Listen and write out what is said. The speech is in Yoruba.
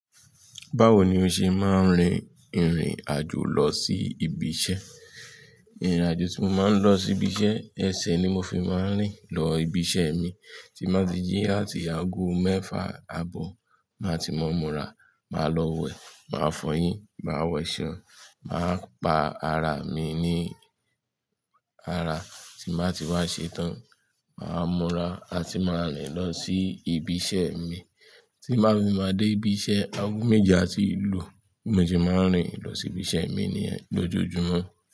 Báwo ni o ṣe máa ń rin ìrìn àjò lọ sí ibi iṣẹ́? Ìrìn àjò tí mo máa ń lọ sí ibi iṣẹ́, ẹsẹ̀ ni mo fi máa ń rìn lọ ibi iṣẹ́ mi. Tí ń bàá ti jí àti aago mẹ́fà àbọ̀, màá ti mọ́ mura, màá lọ wẹ̀, màá fọyín, màá wẹ̀ṣẹ̀, màá pa ara mi ní ara tí màá ti wá ṣetán, màá mura àti máa rìn lọ sí ibi iṣẹ́ mi. Tí màá fi máa dé ibi iṣẹ́, aago méje àti ìlú mo ti máa ń rìn lọ sí ibi iṣẹ́ mi ni yẹn lójoojúmọ́.